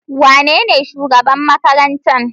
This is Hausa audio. Wanene shugaban makarantar?